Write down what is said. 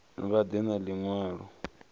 vha ḓe na ḽi ṅwalo